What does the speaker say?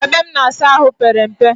Ebe m na-asa ahụ pere mpe